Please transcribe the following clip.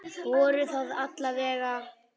Voru það alla vega.